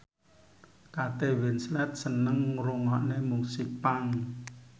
Kate Winslet seneng ngrungokne musik punk